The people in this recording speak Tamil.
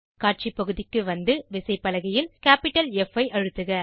காட்சி பகுதிக்கு வந்து விசைப்பலகையில் கேப்பிட்டல் ப் ஐ அழுத்துக